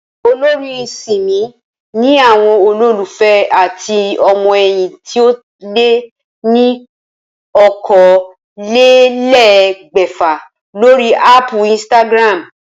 Olórin Simi ni àwo̩n olólùfé àti o̩mo̩ è̩yìn tí ó lé ní okòólélé̩gbè̩fà lórí áàpù Instagram